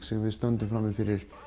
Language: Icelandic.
sem við stöndum frammi fyrir